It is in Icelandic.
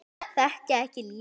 Þekkja ekki lífið.